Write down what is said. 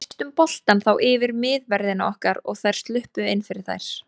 Við misstum boltann þá yfir miðverðina okkar og þær sluppu inn fyrir þær.